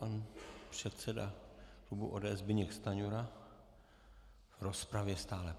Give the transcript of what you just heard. Pan předseda klubu ODS Zbyněk Stanjura v rozpravě stále.